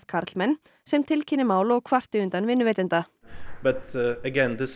karlmenn sem tilkynni mál og kvarti undan vinnuveitanda